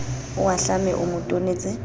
o ahlame o mo tonetse